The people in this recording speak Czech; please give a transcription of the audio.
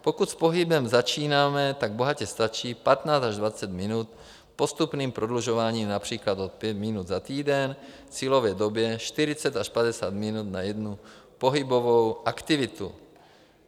Pokud s pohybem začínáme, tak bohatě stačí 15 až 20 minut s postupným prodlužováním například o 5 minut za týden k cílové době 40 až 50 minut na jednu pohybovou aktivitu.